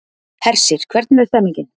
Hersir, hvernig er stemningin?